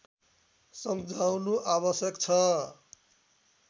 सम्झाउनु आवश्यक छ